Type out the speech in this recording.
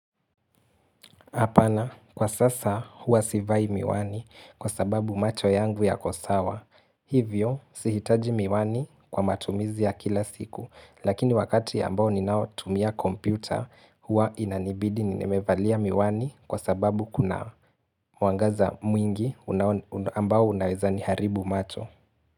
Hapana, kwa sasa huwa sivai miwani kwa sababu macho yangu yako sawa. Hivyo, sihitaji miwani kwa matumizi ya kila siku. Lakini wakati ambao ninaotumia kompyuta, huwa inanibidi nimevalia miwani kwa sababu kuna mwangaza mwingi ambao unaweza niharibu macho.